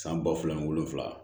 San ba fila ni wolonwula